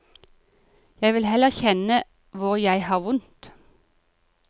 Jeg vil heller kjenne hvor jeg har vondt.